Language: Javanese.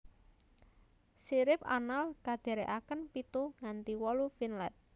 Sirip anal kadherekan pitu nganti wolu finlet